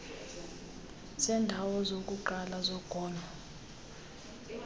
zeendawo zokuqala zogonyo